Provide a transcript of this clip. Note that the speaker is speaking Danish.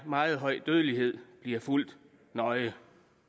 meget høj dødelighed bliver fulgt nøje